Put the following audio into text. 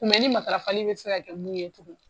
ni matarafali bɛ se ka kɛ mun ye tugun